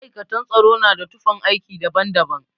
Ma'aikatan tsaro na da tufan aiki daban daban